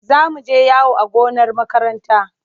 Za mu je yawo a gonar makaranta.